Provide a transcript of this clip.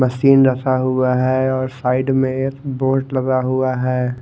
Machine रखा हुआ है ओर साइड मे बोर्ड लगा हुआ है।